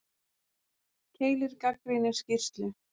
Keilir gagnrýnir skýrslu